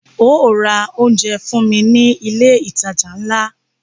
Óò ra oúnjẹ fún mí ní ilé ìtajà ńlá!